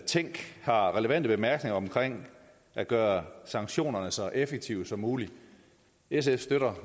tænk har relevante bemærkninger om at gøre sanktionerne så effektive som muligt sf støtter